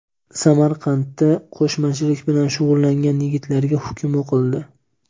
Samarqandda qo‘shmachilik bilan shug‘ullangan yigitlarga hukm o‘qildi.